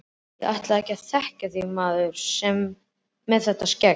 Ég ætlaði ekki að þekkja þig maður, með þetta skegg.